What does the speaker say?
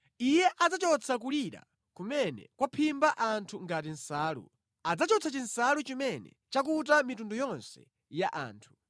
Iye adzachotsa kulira kumene kwaphimba anthu ngati nsalu. Adzachotsa chinsalu chimene chakuta mitundu yonse ya anthu.